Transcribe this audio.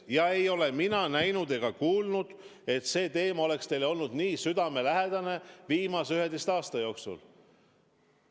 Ja ei ole mina näinud ega kuulnud, et see teema oleks teile olnud nii südamelähedane viimase 11 aasta jooksul.